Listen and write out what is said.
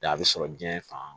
Da a bɛ sɔrɔ diɲɛ fan